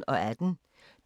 DR P1